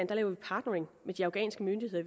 laver partnering med de afghanske myndigheder